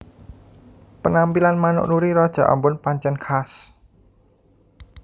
Penampilan manuk Nuri raja ambon pancèn khas